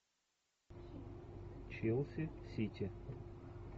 челси сити